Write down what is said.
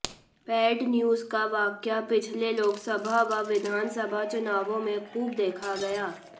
paid news का वाकया पिछले लोकसभा व विधानसभा चुनावों में खूब देखा गया